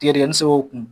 Tigɛdigɛni se o kun